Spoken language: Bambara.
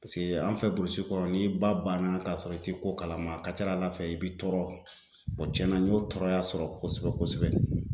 Paseke an fɛ burusi kɔnɔ n'i ba banna k'a sɔrɔ i tɛ ko kalama a ka ca Ala fɛ i bi tɔɔrɔ cɛnna n y'o tɔɔrɔya sɔrɔ kosɛbɛ kosɛbɛ.